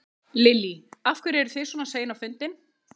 Lillý: Af hverju eru þið svona sein á fundin?